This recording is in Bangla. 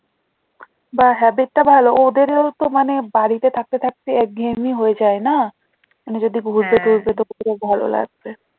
বা habit টা ভালো ওদের ও তো মানে বাড়িতে থাকতে থাকতে একঘেয়েমি হয়ে যায় না মানে যদি ঘুরতে ভালো লাগবে